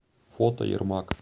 фото ермак